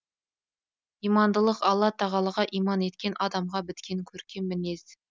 имандылық алла тағалаға иман еткен адамға біткен көркем мінез